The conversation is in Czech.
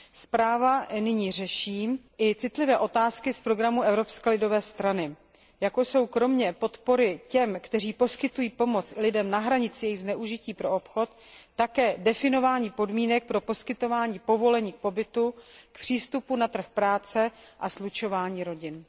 Zpráva nyní řeší i citlivé otázky z programu Evropské lidové strany, jako jsou kromě podpory těm, kteří poskytují pomoc lidem na hranici jejich zneužití pro obchod, také definování podmínek pro poskytování povolení k pobytu, k přístupu na trh práce a slučování rodin.